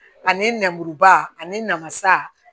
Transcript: Ani nɛnburuba ani namasa